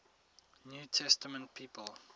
new testament people